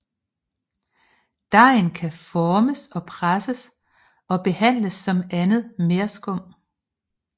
Dejen kan formes og presses og behandles som andet merskum